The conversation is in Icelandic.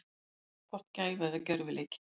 Sitt er hvort gæfa eða gjörvileikur.